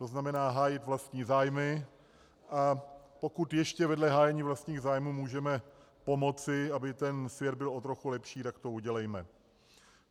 To znamená hájit vlastní zájmy, a pokud ještě vedle hájení vlastních zájmů můžeme pomocí, aby ten svět byl o trochu lepší, tak to udělejme.